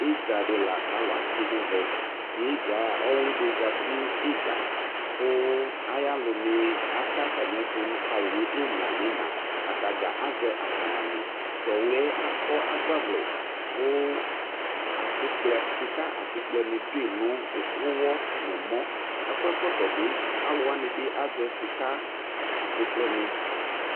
ïɖzɑɖi lɑkɑlωɑtsï ɲɛʋɛ ĩɖzɑ õwliɖi ẓɑti ŋiɖzɑ kɑyɑlωŋi ɑtɛ ɑƭɑmiɛtω kɑyi ŋimlɑ ɲi ïŋɑ ɑtɑɖzɑ ɑzɛ ăkɑɲɑmĩ tówliyɛ ɑƙó ɑgbɑvlɛ 'ƙω ɑsikplé ṣĩƙɑ ɑsĩkplé ɲiɖωɲωwɔ ɲɛmɔ ɑkóékótõbi ɑlωwɑɲĩ bi ɑzɛsikɑ ɑsikpléŋi